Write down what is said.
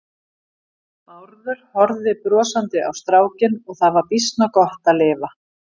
Bárður horfði brosandi á strákinn og það var býsna gott að lifa.